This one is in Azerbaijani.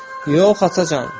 Yox, Atacan.